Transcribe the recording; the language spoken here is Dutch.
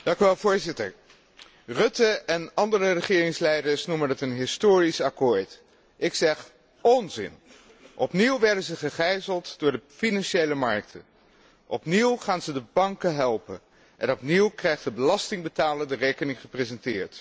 Voorzitter, de heer Rutte en andere regeringsleiders noemen dit een historisch akkoord. Ik zeg onzin! Opnieuw werden ze gegijzeld door de financiële markten, opnieuw gaan ze de banken helpen en opnieuw krijgt de belastingbetaler de rekening gepresenteerd.